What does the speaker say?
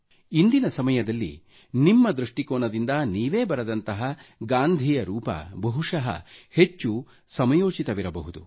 ಇಂದಿನ ಸಮಯದಲ್ಲಿ ನಿಮ್ಮ ದೃಷ್ಟಿ ಕೋನದಿಂದ ನೀವು ಲೇಖನಿಯಿಂದ ಬರೆದಂತಹ ಗಾಂಧಿಯ ರೂಪ ಬಹುಶಃ ಹೆಚ್ಚು ಸಮಯೋಚಿತವಿರಬಹುದು